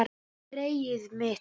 Greyið mitt